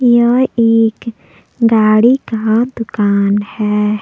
यह एक गाड़ी का दुकान है।